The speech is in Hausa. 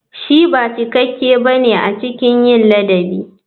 Shi ba cikakke ba ne a cikin ladabi.